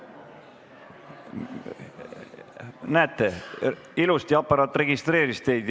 No näete, ilusti aparaat registreeris teid.